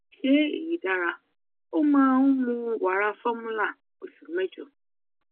ṣé èyí dára ó máa ń mu wara fọrmúlà ọṣù mẹjọ